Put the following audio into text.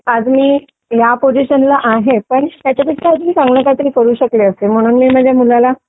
आज मी या पोझिशनला आहे पण ह्याच्यापेक्षा जास्त चांगलं मी काहीतरी करू शकले असते म्हणून मी माझ्या मुलाला